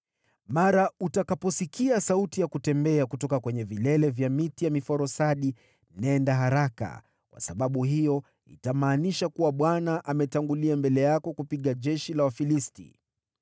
Mara utakaposikia sauti ya kutembea kutoka kwenye vilele vya miti ya miforosadi, nenda haraka, kwa sababu hiyo itamaanisha kuwa Bwana ametangulia mbele yako kupiga jeshi la Wafilisti.”